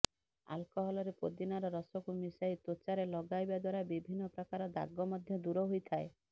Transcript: ଆଲ୍କହଲରେ ପୋଦିନାର ରସକୁ ମିଶାଇ ତ୍ୱଚାରେ ଲଗାଇବା ଦ୍ୱାରା ବିଭିନ୍ନ ପ୍ରକାର ଦାଗ ମଧ୍ୟ ଦୂର ହୋଇଥାଏ